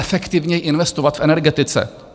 Efektivněji investovat v energetice.